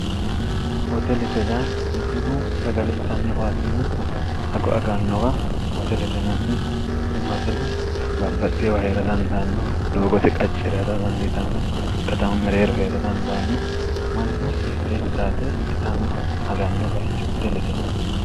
hoteleteyya mannu sagali itanno waaxinna hago agannowa hoteletenanni ine hotele baabbaxxiiwa hie'ra dandaanno doogote qacci irado dandiitanno katama mereero hie'ra dandaanno manno mitteenni xaabe itanno h aganno bayicho hoteletinani